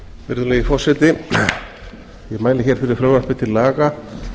virðulegi forseti ég mæli hér fyrir frumvarpi til laga